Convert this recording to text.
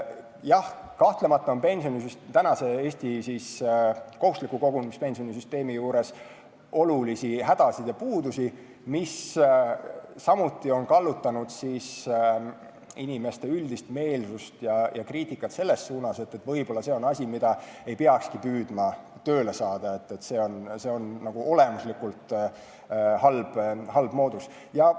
Jah, kahtlemata on Eesti praeguse kohustusliku kogumispensioni süsteemi juures hädasid ja puudusi, mis samuti on kallutanud inimeste üldist meelsust ja kriitikat selles suunas, et võib-olla see on asi, mida ei peakski püüdma toimima saada, ehk on see juba olemuslikult halb moodus.